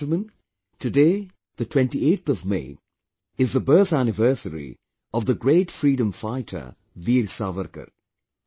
My dear countrymen, today the 28th of May, is the birth anniversary of the great freedom fighter, Veer Savarkar